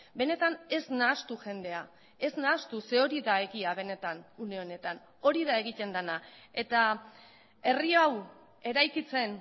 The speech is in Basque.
benetan ez nahastu jendea ez nahastu ze hori da egia benetan une honetan hori da egiten dena eta herri hau eraikitzen